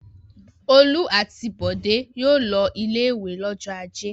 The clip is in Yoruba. Olú àti Bọ̀dé yóò lọ ilé-ìwé lọ́jọ́ ajé.